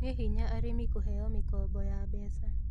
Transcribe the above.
Nĩ hinya arĩmi kũheo mĩkombo ya mbeca